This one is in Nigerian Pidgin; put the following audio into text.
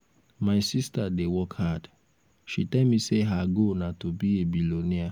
my sister dey work hard. she tell me say her goal na to be a billionaire